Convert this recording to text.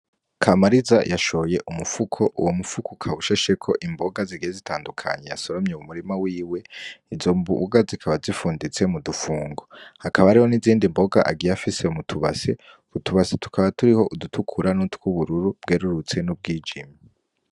Kamariza yashoye umufuko, uwo mufuko ukaba ushasheko imboga zigiye zitandukanye yasoromye mu murima wiwe, izo mboga zikaba zifunditse mu dufungo, hakaba hariho n'izindi mboga agiye afise mu tubase, utubase tukaba turiho udutukura n'utwubururu bwerurutse n'ubwijimye.